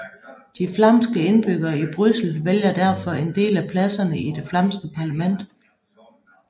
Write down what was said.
De flamske indbyggere i Bryssel vælger derfor en del af pladserne i det flamske parlament